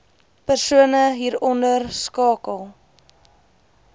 persone hieronder skakel